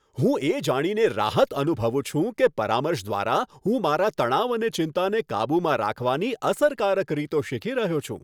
હું એ જાણીને રાહત અનુભવું છું કે પરામર્શ દ્વારા હું મારા તણાવ અને ચિંતાને કાબૂમાં રાખવાની અસરકારક રીતો શીખી રહ્યો છું.